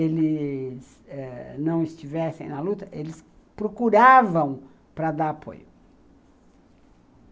Eles ãh não estivessem na luta, eles procuravam para dar apoio.